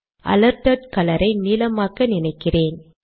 alerted colour ஐ நீலமாக்க நினைக்கிறேன்